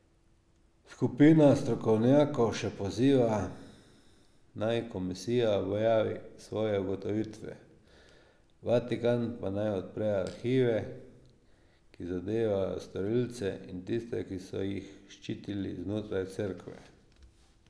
Skupina strokovnjakov še poziva, naj komisija objavi svoje ugotovitve, Vatikan pa naj odpre arhive, ki zadevajo storilce in tiste, ki so jih ščitili znotraj Cerkve.